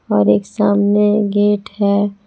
और एक सामने गेट है।